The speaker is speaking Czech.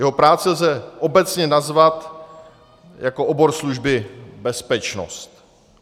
Jeho práci lze obecně nazvat jako obor služby bezpečnost.